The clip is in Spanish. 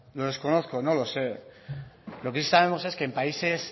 lo desconozco no lo sé lo que sí sabemos es que en países